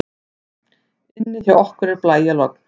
Inni hjá okkur er blæjalogn.